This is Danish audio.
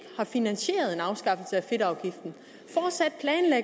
finansieret en afskaffelse